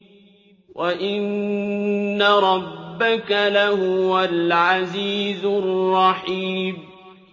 وَإِنَّ رَبَّكَ لَهُوَ الْعَزِيزُ الرَّحِيمُ